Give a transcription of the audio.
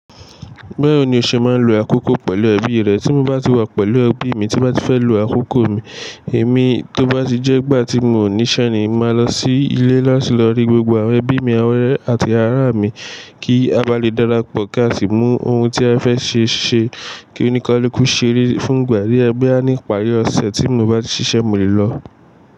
Bawo ni o ṣé màá n lo àkókó pẹ̀lú ẹbi rẹ? Ti mo bá ti wà pẹ̀lú ẹbi mi tí m bá ti fẹ́ lo àkókó mi, èmi tó bá ti jẹ́ igbà ti mo ò níṣẹ́ ni, mo màá lọ sí ilé láti lọ rí gbogbo awon ẹbí mi, awon ore àti ara mi kí a ba lè darapọ̀, kí a sì mú ohun ti a fẹ́ ṣe ṣe. Kí onikáluku sere fún ìgbà die boya ní ipàrí ọ̀sẹ̀ tí mi o bá ti ṣiṣẹ́ mo lè lọ.